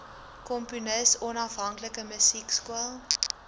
komponis onafhanklike musiekskool